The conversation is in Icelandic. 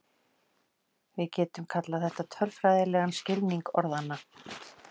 Við getum kallað þetta tölfræðilegan skilning orðanna.